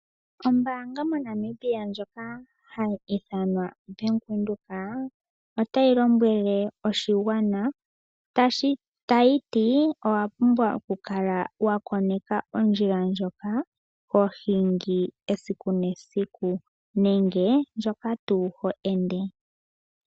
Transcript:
Ombaanga moNamibia ndjoka hayi ithanwa Bank Windhoek otayi lombwele oshigwana tayiti owapumbwa okukala wakoneka ondjila ndjoka hohingi esiku nesiku nenge ndjoka tuu ho ende.